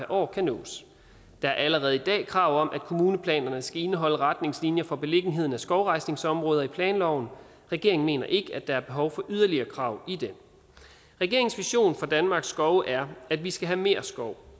år kan nås der er allerede i dag krav om at kommuneplanerne skal indeholde retningslinjer for beliggenheden af skovrejsningsområder i planloven regeringen mener ikke at der er behov for yderligere krav i den regeringens vision for danmarks skove er at vi skal have mere skov